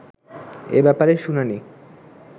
এ ব্যাপারে শুনানি